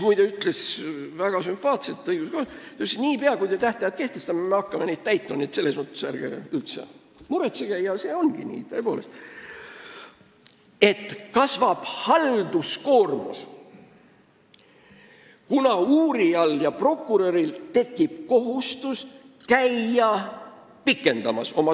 Ta ütles väga sümpaatselt, et niipea, kui te tähtajad kehtestate, me hakkame neid täitma, selles mõttes ärge üldse muretsege – ja see tõepoolest ongi nii –, aga halduskoormus kasvab, kuna uurijal ja prokuröril tekib kohustus käia oma toimikut pikendamas.